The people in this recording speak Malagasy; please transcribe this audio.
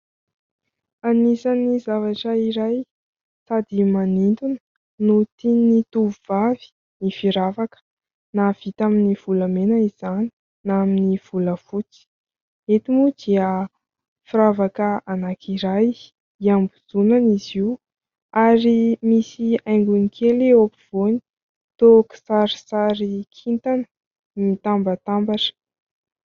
Anisan'ny zavatra iray sady manintona no tian'ny tovovavy ny firavaka na vita amin'ny volamena izany na amin'ny volafotsy. Eto moa dia firavaka anankiray hiambozonana izy io ary misy haingony kely eo ampovoany, toa kisarisary kintana mitambatambatra.